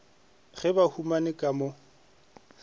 ge ba humane ka mo